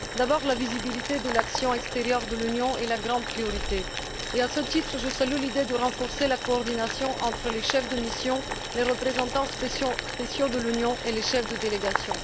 D'abord, la visibilité de l'action extérieure de l'Union est la grande priorité. À ce titre, je salue l'idée de renforcer la coordination entre les chefs de mission, les représentants spéciaux de l'Union et les chefs de délégation.